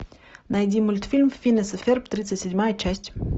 найди мультфильм финес и ферб тридцать седьмая часть